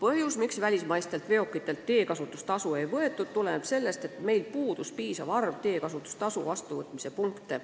Seni ei võetud välismaistelt veokitelt teekasutustasu seepärast, et meil puudus piisav arv teekasutustasu vastuvõtmise punkte.